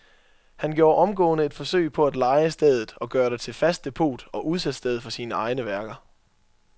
Han gjorde omgående et forsøg på at leje stedet og gøre det til fast depot og udsalgssted for sine egne værker.